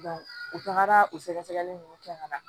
u tagara o sɛgɛsɛgɛli nunnu kɛ ka na